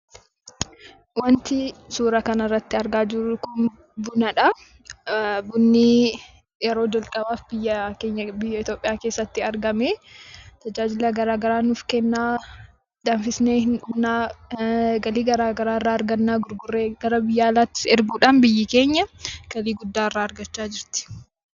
Wanti suura kanarratti argaa jiru kun bunadha. Bunni yeroo jalqabaaf biyya keenya Itoophiyaa keessatti argame. Tajaajila garagaraa nuuf kenna, danfisnee hin dhugna, galii gara garaa irraa argamna, gurgurree gara biyya alaattis erguudhaan biyyi kènya galii gurguddaa irraa argachaa jirti.